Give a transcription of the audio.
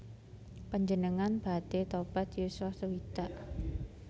Panjenengan badhe tobat yuswa sewidak